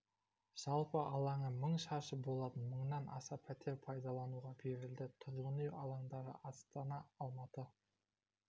жалпы алаңы мың шаршы болатын мыңнан аса пәтер пайдалануға берілді тұрғын үй алаңдары астана алматы